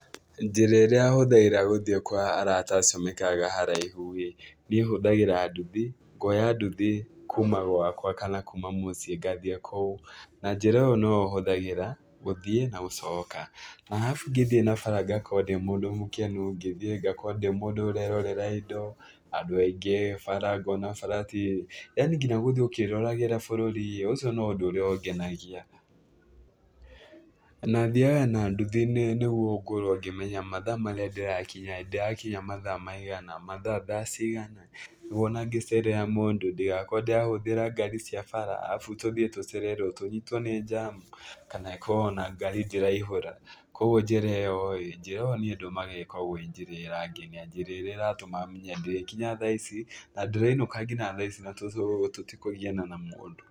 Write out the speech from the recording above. Njĩra ĩrĩa hũthagĩra gũthiĩ kwa arata acio maikaraga haraihu-ĩ, niĩ hũthagĩra nduthi, ngoya nduthi kuma gwakwa kana kuma mũciĩ ngathiĩ kũu na njĩra ĩyo noyo hũthagĩra gũthiĩ na gũcoka, na arabu ngĩthiĩ na bara ngakowo ndĩ mũndũ mũkenu, ngĩthiĩ ngakorwo ndĩ mũndũ ũrerorera indo, andũ aingĩ, bara ngona bara ti, yaani nginya gũthiĩ ũkĩroragĩra bũrũri-ĩ ũcio no ũndũ ũrĩa ũngenagia. Na, thiaga na nduthi nĩguo ngorwo ngĩmenya mathaa marĩa ndĩrakinya-ĩ, ndĩrakinya mathaa maigana, mathaa thaa cigana, nĩguo ona ngĩcerera mũndũ ndigakorwo ndĩrahũthĩra ngari cia bara, arabu tũthiĩ tũcererwo tũnyitwo nĩ njamu kana ĩkorwo ona ngari ndĩraihũra. Kuoguo njĩra ĩyo-ĩ, njĩra ĩyo niĩ ndũmagĩra ĩkoragwo njĩra ĩrangenia, njĩra ĩrĩa ĩratũma menye ndĩrĩkinya thaa ici, na ndĩrĩinũka kinya thaa ici na tũtikũgiana na mũndũ.